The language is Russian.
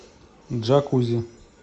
джакузи